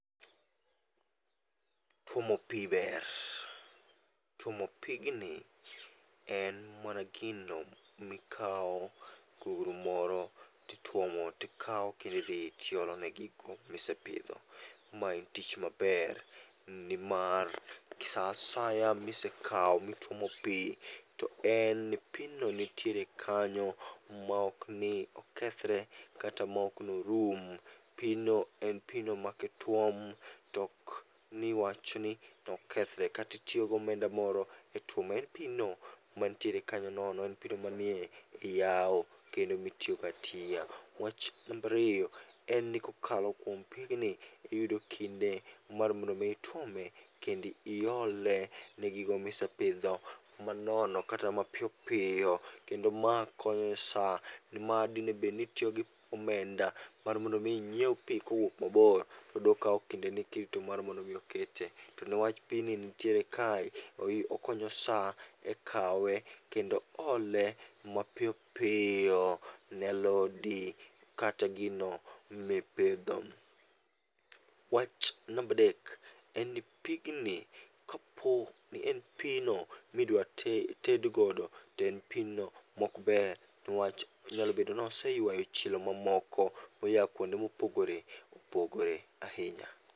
Tuomo pi ber: tuomo pigni en mana gino mikawo gugru moro titwomo tikawo kendi dhi olone gigo misepidho. Ma en tich maber nimar sa asaya misekawo mituomo pi to en pino nitiere kanyo, maok ni okethre kata maok norum. Pino en pino ma kituom tok ni wach ni okethre, katitiyo gomenda moro e tuome. En pino mantiere kanyo nono, en pino manie e yao kendo mitiyogo atiya. Wach nambariyo en ni kokalo kuom pigni iyudo kinde mar mondo mi ituome kendi iole ne gigo misepidho manono kata mapiyo piyo. Kendo ma konyo e sa ni ma dinebed ni itiyo gi omenda, ar mondo mi inyiew pi kowuok mabor. To dokawo kinde ni kirito mar mondo mi okete. To newach pini nitiere kae, okonyo sa ekawe kendo ole mapiyopiyo ne alodi kata gino mipidho. Wach nambadek, en ni pigni kapo ni en pino midwa tedgodo to en pino mokber newach onyalobedo noseywayo chilo mamoko moya kuonde mopogore opogore ahinya.